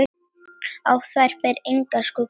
Á þær ber engan skugga.